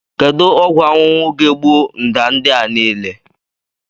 Kedu ọgwụ ahuhu ga-egbu mda ndị a niile?